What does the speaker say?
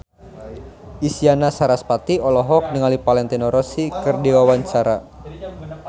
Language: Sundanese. Isyana Sarasvati olohok ningali Valentino Rossi keur diwawancara